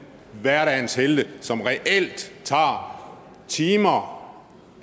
hverdagens helte som reelt tager timer